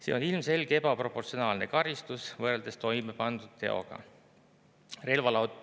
Siin on ilmselgelt ebaproportsionaalne karistus võrreldes toime pandud teoga.